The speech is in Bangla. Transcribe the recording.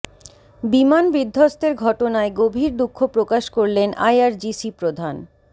বিমান বিধ্বস্তের ঘটনায় গভীর দুঃখ প্রকাশ করলেন আইআরজিসি প্রধান